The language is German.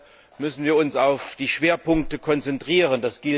Deshalb müssen wir uns auf die Schwerpunkte konzentrieren.